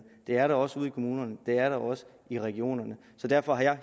det er der også ude i kommunerne og det er der også i regionerne så derfor har jeg